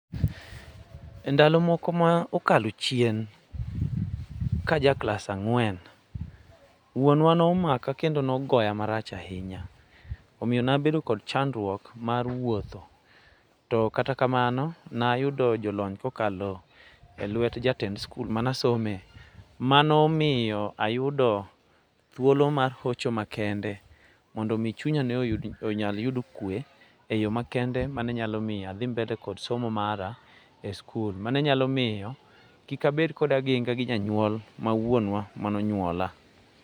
E ndalo moko maokalo chien, kajaklas ang'wen wuonwa nomaka kendo nogoya marach ahinya. Omiyo nabedo kod chandruok mar wuotho to kata kamano nayudo jolony kokalo e lwet jatend skul manasome manomiyo ayudo thuolo mahocho makende mondomi chunya ne onyal yudo kwe e yo makende manenyalo miyo adhi mbele kod somo mara e skul mane nyalo miyo kikabed koda aginga gi janyuol mawuonwa manonyuola.